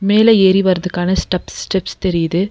மேல ஏறி வர்துக்கான ஸ்டப்ஸ் ஸ்டெப்ஸ் தெரியுது.